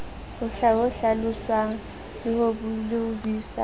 ho hlaloswang le ho buisanwa